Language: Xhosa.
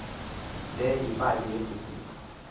le yimali esisipho